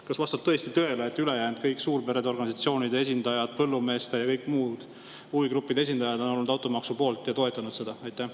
Kas vastab tõesti tõele, et ülejäänud kõik – suurperede organisatsioonide esindajad, põllumeeste ja muude huvigruppide esindajad – on olnud automaksu poolt ja toetanud seda?